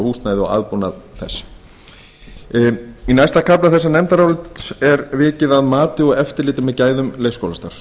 leikskólahúsnæði og aðbúnað þess í næsta kafla þessa nefndarálits er vikið að mati og eftirliti með gæðum leikskólastarfs